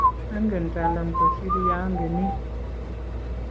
angen Talam kusir ya angenin